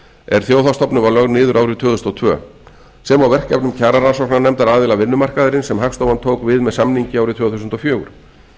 er þjóðhagsstofnun var lögð niður árið tvö þúsund og tvö sem og verkefnum kjararannsóknarnefndar aðila vinnumarkaðarins sem hagstofan tók við með samningi árið tvö þúsund og fjögur